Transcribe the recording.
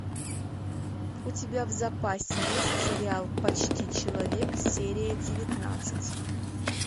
у тебя в запасе есть сериал почти человек серия девятнадцать